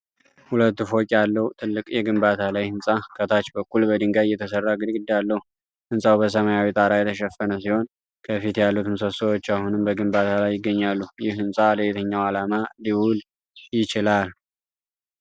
ሁለት ፎቅ ያለው ትልቅ የግንባታ ላይ ሕንፃ ከታች በኩል በድንጋይ የተሠራ ግድግዳ አለው። ሕንጻው በሰማያዊ ጣራ የተሸፈነ ሲሆን ከፊት ያሉት ምሰሶዎች አሁንም በግንባታ ላይ ይገኛሉ። ይህ ህንፃ ለየትኛው ዓላማ ሊውል ይችላል?